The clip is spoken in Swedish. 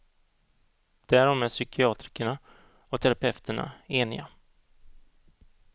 Därom är psykiatrikerna och terapeuterna eniga.